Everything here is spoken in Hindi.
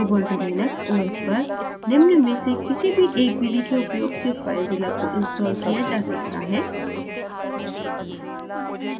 ubuntu linux os पर निम्न में से किसी भी एक विधि के उपयोग से filezilla को installed किया जा सकता है